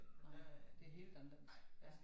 Nej det helt anderledes ja